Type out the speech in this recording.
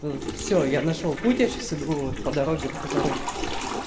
все я нашёл путь я сейчас иду по дороге по которой